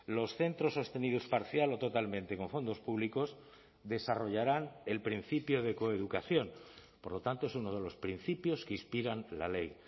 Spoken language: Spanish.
los centros sostenidos parcial o totalmente con fondos públicos desarrollarán el principio de coeducación por lo tanto es uno de los principios que inspiran la ley